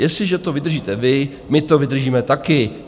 Jestliže to vydržíte vy, my to vydržíme taky.